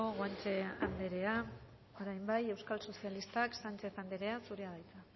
guanche anderea orain bai euskal sozialistak sánchez anderea zurea da hitza